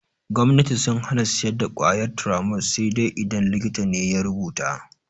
Gomnati sun hana siyar da ƙwayar Turamol sai dai idan likita ne ya rubuta.